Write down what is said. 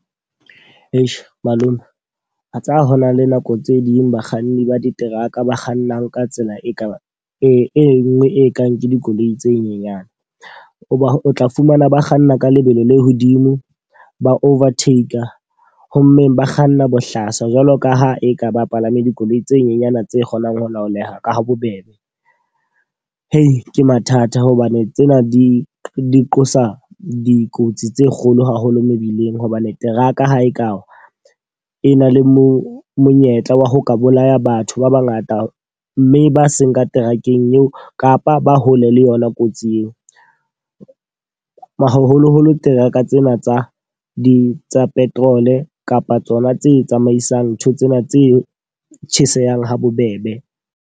Malome, a tsa hona le nako tse ding bakganni ba diteraka ba kgannang ka tsela e ka ba e nngwe e kang ke dikoloi tse nyenyane. O ba o tla fumana ba kganna ka lebelo le hodimo, ba overtake. Ho mmeng ba kganna bohlaswa. Jwalo ka ha e ka ba palame dikoloi tse nyenyana tse kgonang ho laoleha ka ha bobebe. Ke mathata hobane tsena di di qosa dikotsi tse kgolo haholo mebileng. Hobane teraka ha e ka wa e na le mo monyetla wa ho ka bolaya batho ba ba ngata mme ba seng ka terakeng eo kapa ba hole le yona kotsi eo. Haholoholo teraka tsena tsa di tsa petrol kapa tsona tse tsamaisang ntho tsena tse tjhesehang ha bobebe.